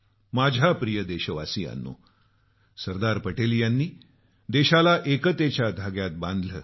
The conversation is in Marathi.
माझ्या प्रिय देशवासियांनो सरदार पटेल यांनी देशाला एकतेच्या धाग्यात बांधलं